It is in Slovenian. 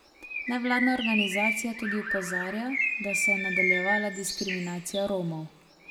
Nevladna organizacija tudi opozarja, da se je nadaljevala diskriminacija Romov.